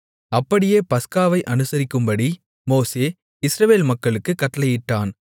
அப்படியே பஸ்காவை அனுசரிக்கும்படி மோசே இஸ்ரவேல் மக்களுக்குக் கட்டளையிட்டான்